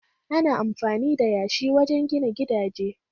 Ana amfani da yashi wajen gina gidaje